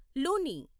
Luni